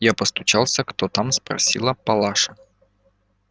я постучался кто там спросила палаша